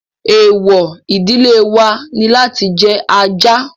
Èèwọ̀ ìdílé wa ni láti jẹ ajá